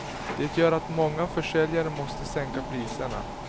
Det gör att många försäljare måste sänka priserna.